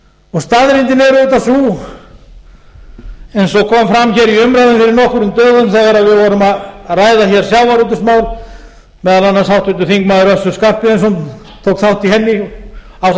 er auðvitað sú eins og kom fram í umræðunni hér fyrir nokkrum dögum þegar við vorum að ræða hér sjávarútvegsmál meðal annars háttvirtur þingmaður össur skarphéðinsson tók þátt í henni